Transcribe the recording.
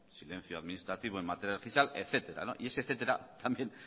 silencio administrativo en materia fiscal etcétera y ese etcétera también